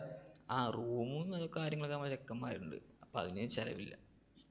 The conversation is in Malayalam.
ആ room കാര്യങ്ങൾക്കും ഒക്കെ നമ്മടെ ചെക്കെന്മാരുണ്ട് അപ്പൊ അതിനു ചിലവില്ല.